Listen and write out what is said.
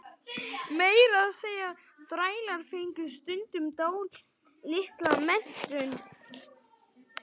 Meira að segja þrælar fengu stundum dálitla menntun.